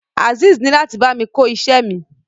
Azeez ni lati bámi ko iṣẹ mi.